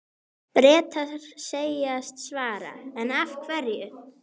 Bretar segjast svara, en hverju?